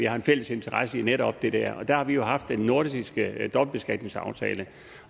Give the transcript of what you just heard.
har en fælles interesse i netop det der og der har vi haft den nordiske dobbeltbeskatningsaftale